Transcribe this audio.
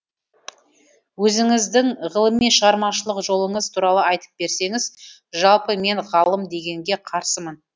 өзіңіздің ғылыми шығармашылық жолыңыз туралы айтып берсеңіз жалпы мен ғалым дегенге қарсымын